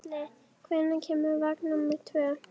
Um leið og vígsluþeginn hneigir sig ávarpar ábótinn hann